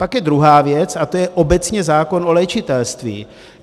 Pak je druhá věc a tou je obecně zákon o léčitelství.